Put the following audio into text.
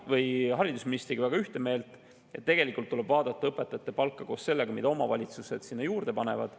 Olen haridusministriga ühte meelt, et tegelikult tuleb vaadata õpetajate palka koos sellega, mida omavalitsused sinna juurde panevad.